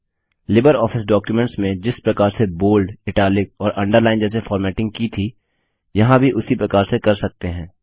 LibreOffice documents में जिस प्रकार से बोल्ड इटालिक और अंडरलाइन जैसे फॉर्मेटिंग की थी यहाँ भी उसी प्रकार से कर सकते हैं